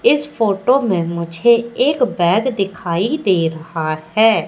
इस फोटो में मुझे एक दिखाई दे रहा है।